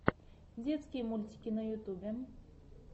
детские мультики на ютубе